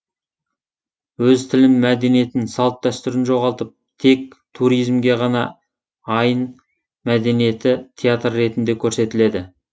өз тілін мәдениетін салт дәстүрін жоғалтып тек туризмге ғана айн мәдениеті театр ретінде көрсетіледі